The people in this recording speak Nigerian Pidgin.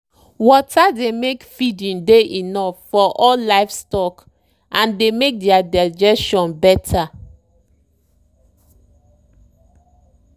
water dey make feeding dey enough for all all livestock and dey make their digestion better.